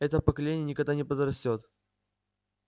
это поколение никогда не подрастёт